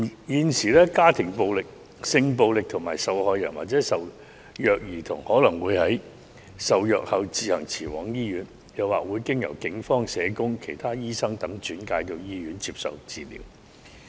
現時，家庭暴力、性暴力受害人或受虐兒童可能會在受虐後自行前往醫院，又或經由警方、社工、其他醫生等轉介到醫院接受治療。